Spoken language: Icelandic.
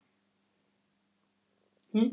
Jakob spratt upp og heilsaði honum með virktum.